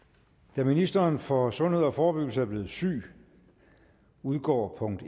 da ministeren for sundhed og forebyggelse er blevet syg udgår punkt